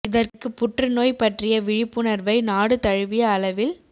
இதற்கு புற்று நோய் பற்றிய விழிப்புணர்வை நாடு தழுவிய அளவில் ஏற்